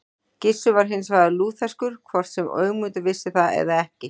Gissur var hins vegar lútherskur, hvort sem Ögmundur vissi það eða ekki.